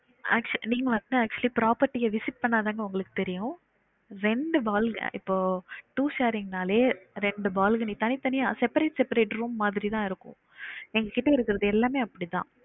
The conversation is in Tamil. Actually நீங்க வந்து property visit பண்ணாதா உங்களுக்கு தெரியும் ரெண்டு balcony இப்போ two sharing நாளே ரெண்டு balcony தனி தனியா separate seperate room மாதிரி தா இருக்கும் நீங்க சுத்தி இருக்குறது எல்லாமே அப்படிதா